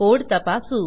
code तपासू